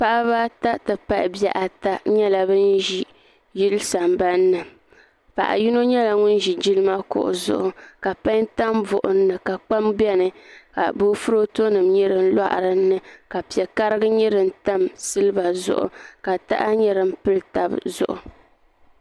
Paɣaba ata ti pahi bihi ata nyɛla bin ʒi yili sambanni paɣa yino nyɛla ŋun ʒi jilima kuɣu zuɣu ka pai tam buɣum ni ka kpam biɛni ka boofurooto nim nyɛ din loɣa dinni ka piɛ karigi nyɛ din tam silba zuɣu ka taha nyɛ din tam tab zuɣu